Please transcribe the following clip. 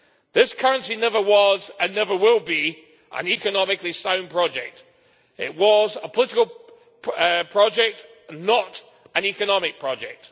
This currency never was and never will be an economically sound project. It was a political project and not an economic project.